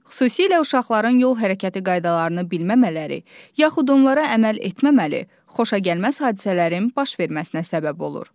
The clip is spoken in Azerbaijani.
Xüsusilə uşaqların yol hərəkəti qaydalarını bilməmələri, yaxud onlara əməl etməməli xoşagəlməz hadisələrin baş verməsinə səbəb olur.